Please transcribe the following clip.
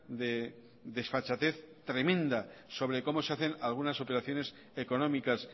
de desfachatez tremenda sobre cómo se hacen algunas operaciones económicas